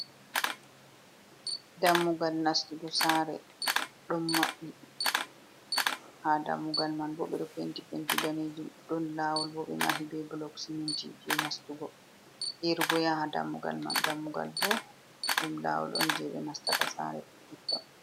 Dammugal nastugo sare ɗo maɓɓi, ha dammugal man bo beɗo penti penti danejum, ɗon lawol bo ɓe mahol be bulok ciminti je nastugo, irgo ya ha dammugal man, dammugal bo ɗum lawol on je ɓe nastata sare meton.